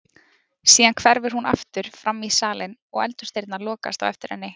Síðan hverfur hún aftur framí salinn og eldhúsdyrnar lokast á eftir henni.